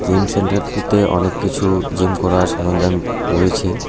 Gym centre -টিতে অনেক কিছু জিম করার সরঞ্জাম রয়েছে।